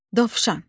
Dovşan.